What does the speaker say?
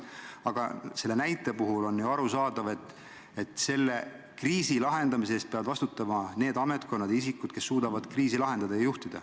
Aga selle näite puhul on ju arusaadav, et sellise kriisi lahendamise eest peavad vastutama need ametkonnad ja isikud, kes suudavad kriisi lahendada.